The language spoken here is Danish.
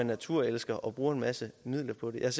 naturelsker og bruger en masse midler på det jeg